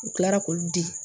U kilara k'olu di